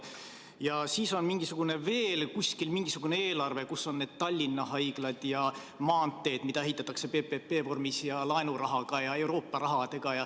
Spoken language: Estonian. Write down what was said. Ja siis on veel kuskil mingisugune eelarve, kus on Tallinna Haigla ja maanteed, mida ehitatakse PPP-vormis ja laenurahaga ja Euroopa rahaga.